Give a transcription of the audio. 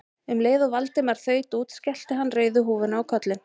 Um leið og Valdimar þaut út skellti hann rauðu húfunni á kollinn.